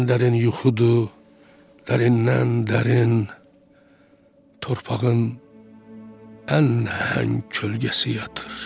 Ən dərin yuxudur, dərindən dərin, torpağın ən nəhəng kölgəsi yatır.